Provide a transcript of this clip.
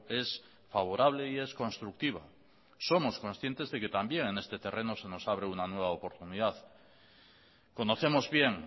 es favorable y es constructiva somos conscientes de que también en este terreno se nos abre una nueva oportunidad conocemos bien